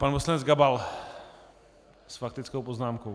Pan poslanec Gabal s faktickou poznámkou.